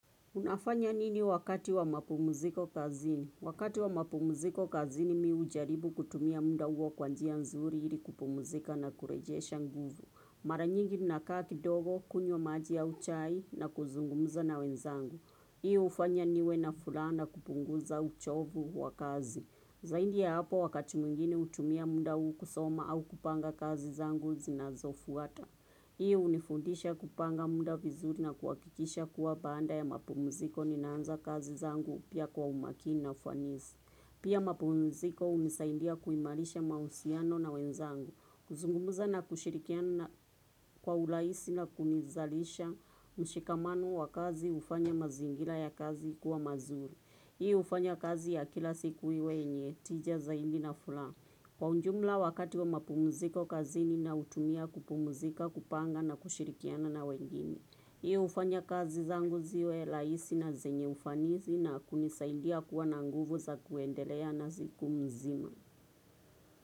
Unafanya nini wakati wa mapumziko kazini? Wakati wa mapumziko kazini mimi hujaribu kutumia muda huo kwa njia nzuri ili kupumzika na kurejesha nguvu. Mara nyingi ninakaa kidogo, kunywa maji au chai na kuzungumza na wenzangu. Hii hufanya niwe na furaha kupunguza uchofu wa kazi. Zaidi ya hapo wakati mwingine hutumia muda huu kusoma au kupanga kazi zangu zinazofuata. Hiyo hunifundisha kupanga muda vizuri na kuhakikisha kuwa baada ya mapumziko ninaanza kazi zangu pia kwa umakini na ufanisi. Pia mapumziko hunisaidia kuimarisha mauhusiano na wenzangu. Kuzungumza na kushirikiana kwa urahisi na kunizalisha mshikamano wa kazi hufanya mazingira ya kazi kuwa mazuri. Hii hufanya kazi ya kila siku iwe yenye, tija zaidi na furaha. Kwa ujumla wakati wa mapumuziko kazi ninautumia kupumuzika, kupanga na kushirikiana na wengine. Hiyo hufanya kazi zangu ziwe rahisi na zenye ufanisi na kunisaidia kuwa na nguvu za kuendelea na siku mzima.